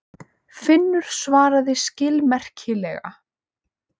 Finnur svaraði skilmerkilega.